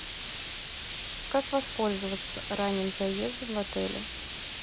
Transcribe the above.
как воспользоваться ранним заездом в отеле